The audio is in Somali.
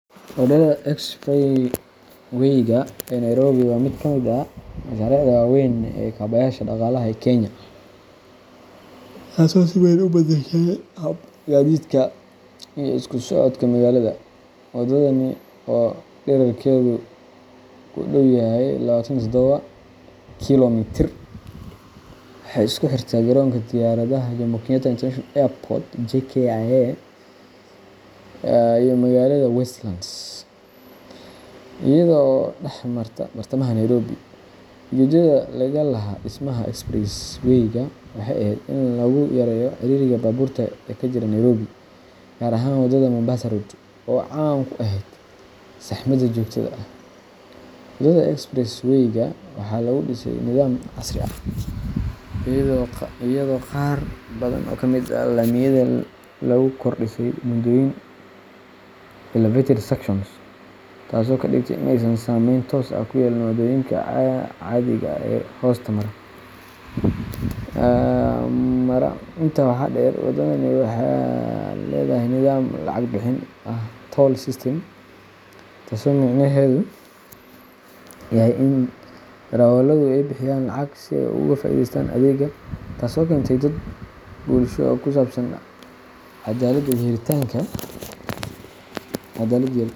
Wadada Expressway-ga ee Nairobi waa mid ka mid ah mashaariicda waaweyn ee kaabayaasha dhaqaalaha ee Kenya, taasoo si weyn u beddeshay habka gaadiidka iyo isku socodka magaalada. Wadadani oo dhererkeedu ku dhow yahay labatan iyo todoba kiilomitir, waxay isku xirtaa garoonka diyaaradaha Jomo Kenyatta International Airport JKIA iyo magaalada Westlands, iyada oo dhex marta bartamaha Nairobi. Ujeedada laga lahaa dhismaha Expressway-ga waxay ahayd in lagu yareeyo ciriiriga baabuurta ee ka jiray Nairobi, gaar ahaan wadada Mombasa Road oo caan ku ahayd saxmada joogtada ah. Wadada Expressway-ga waxaa lagu dhisay nidaam casri ah, iyadoo qaar badan oo ka mid ah laamiyada lagu kor dhisay buundooyin elevated sections, taasoo ka dhigtay in aysan saameyn toos ah ku yeelan waddooyinka caadiga ah ee hoosta mara. Intaa waxaa dheer, wadadani waxay leedahay nidaam lacag bixin ah toll system, taasoo micnaheedu yahay in darawalladu ay bixiyaan lacag si ay uga faa'iideystaan adeegga, taasoo keentay dood bulsho oo ku saabsan cadaaladda iyo helitaanka.